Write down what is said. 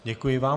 Děkuji vám.